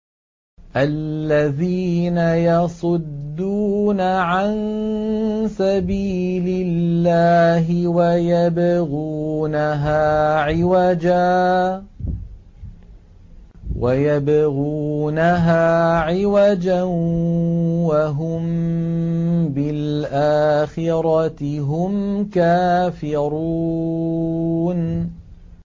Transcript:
الَّذِينَ يَصُدُّونَ عَن سَبِيلِ اللَّهِ وَيَبْغُونَهَا عِوَجًا وَهُم بِالْآخِرَةِ هُمْ كَافِرُونَ